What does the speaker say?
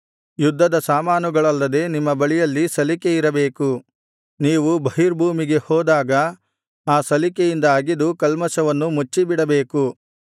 ಯುದ್ಧದ ಸಾಮಾನುಗಳಲ್ಲದೆ ನಿಮ್ಮ ಬಳಿಯಲ್ಲಿ ಸಲಿಕೆ ಇರಬೇಕು ನೀವು ಬಹಿರ್ಭೂಮಿಗೆ ಹೋದಾಗ ಆ ಸಲಿಕೆಯಿಂದ ಅಗೆದು ಕಲ್ಮಷವನ್ನು ಮುಚ್ಚಿಬಿಡಬೇಕು